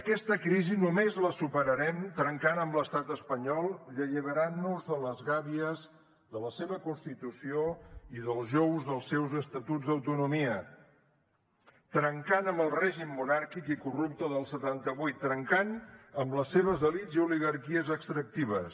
aquesta crisi només la superarem trencant amb l’estat espanyol i alliberant nos de les gàbies de la seva constitució i dels jous dels seus estatuts d’autonomia trencant amb el règim monàrquic i corrupte del setanta vuit trencant amb les seves elits i oligarquies extractives